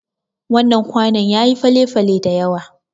Wannan kwanon yayi fale-fale dayawa.